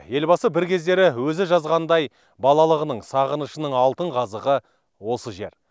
елбасы бір кездері өзі жазғандай балалығының сағынышының алтын қазығы осы жер